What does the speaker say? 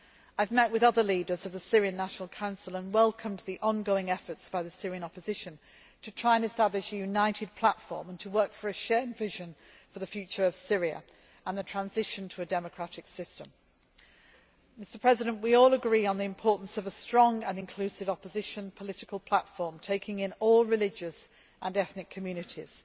I have met with other leaders of the Syrian National Council and welcomed the ongoing efforts by the Syrian opposition to try and establish a united platform and to work for a shared vision for the future of Syria and the transition to a democratic system. We all agree on the importance of a strong and inclusive opposition political platform taking in all religious and ethnic communities.